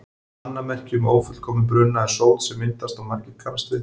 Annað merki um ófullkominn bruna er sót sem myndast og margir kannast við.